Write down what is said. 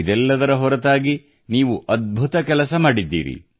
ಇದೆಲ್ಲದರ ಹೊರತಾಗಿ ನೀವು ಅದ್ಭುತ ಕೆಲಸ ಮಾಡಿದ್ದೀರಿ